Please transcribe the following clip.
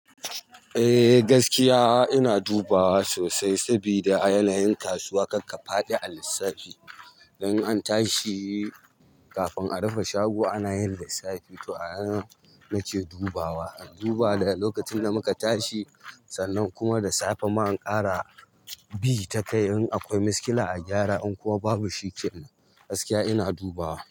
Eh gaskiya ina dubawa sosai sabida a yanayin kasuwa karka faɗi a lissafi. Dan an tashi kafin a rufe shago ana yin lissafi. To a nan nake dubawa, in duba da lokacin da muka tashi sannan kuma da safe ma in ƙara bi ta kai in akwai miskila a gyara in kuma babu shikenan. Gaskiya ina dubawa.